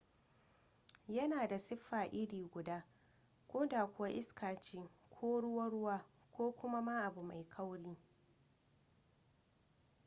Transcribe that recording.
yana da siffa iri guda ko da kuwa iska ce ko ruwa-ruwa ko kuma ma abu mai kauri